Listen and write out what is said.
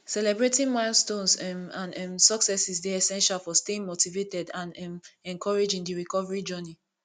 celebrating milestones um and um successes dey essential for staying motivated and um encouraged in di recovery journey